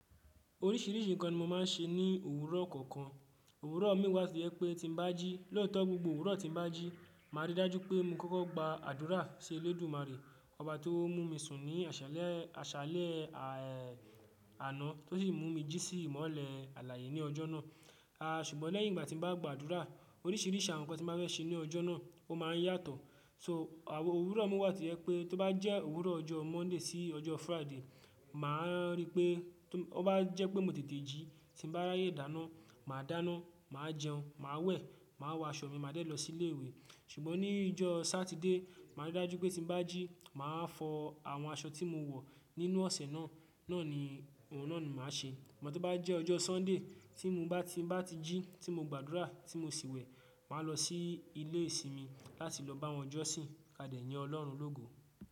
Oríṣìíríṣìí ǹkan ni mo máa ń ṣe ní òwúrọ̀ kọ̀ọ̀kan. Òwúrọ̀ mi wà to je pé tí mo bá jí lẹ́ẹ̀tọ́ gbogbo òwúrọ̀ tí mo bá jí, màá rí i dájú pé mo kọ́kọ́ gbà àdúrà sí Olódùmarè, Ọba tó mú mi sún ní àṣálẹ́, àṣálẹ́ àná tó sì mú mi jí sí ìmọ́lẹ̀ alààyè ní ọjọ́ náà. A ṣùgbọ́n lẹ́yìn ìgbà tí n bá gbàdúrà, oríṣìíríṣìí àwọn ǹkan tí n ba fẹ́ ṣe ní ọjọ́ náà ó máa ń yàtọ̀. So àwọn òwúrọ̀ mi wà tó jẹ́ pe. To ba je òwúrọ̀ ọjọ́ Monday sí ọjọ́ Friday, màá rí i pé tó bá jẹ́ pé mo tètè jí, tí n bá ráyè dáná, mà á dáná, mà á jẹun, mà á wẹ̀, mà á wọ aṣọ mi, màá dé lọ sí ilé ìwé. Ṣùgbọ́n ní ọjọ́ Saturday, màá rí i dájú pé tí mo bá jí, mà á fọ àwọn aṣọ tí mo wọ nínú ọ̀sẹ̀ náà, náà ni òun náà ni mà á ṣe. Ṣùgbọ́n tó bá jẹ́ ọjọ́ Sunday tí mo bá, tí mo bá ti jí tí mo gbàdúrà tí mo sì wẹ̀, mà á lọ sí ilé ìsinmi láti lọ bá wọn jọ́sìn ká dẹ̀ yín Ọlọ́run lógo.